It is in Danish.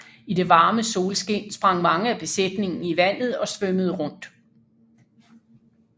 I det varme solskin sprang mange af besætningen i vandet og svømmede rundt